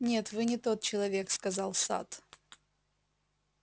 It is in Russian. нет вы не тот человек сказал сатт